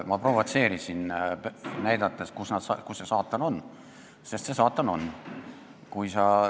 Ma provotseerisin, näidates, kus see saatan on, sest see saatan on olemas.